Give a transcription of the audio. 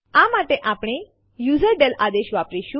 આ માટે આપણે યુઝરડેલ આદેશ વાપરીશું